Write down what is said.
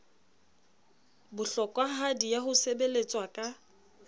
bohlokwahadi ya ho sebeletswa ka